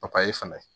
papaye fɛnɛ